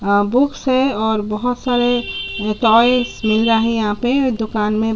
अअअ बुक्स है और बहोत सारे टॉयज मिल रहा है यहाँ पे दुकान में--